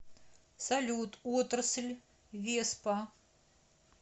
салют отрасль веспа